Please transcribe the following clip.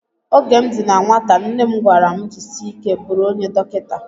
Oge m dị na nwata nne m gwara m jisie ike bụrụ onye dọkịta